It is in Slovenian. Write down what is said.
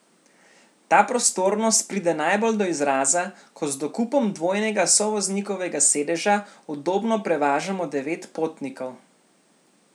Ta prostornost pride najbolj do izraza, ko z dokupom dvojnega sovoznikovega sedeža udobno prevažamo devet potnikov.